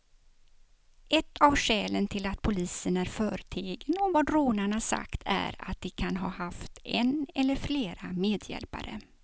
Ett av skälen till att polisen är förtegen om vad rånarna sagt är att de kan ha haft en eller flera medhjälpare.